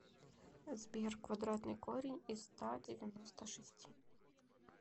сбер квадратный корень из ста девяноста шести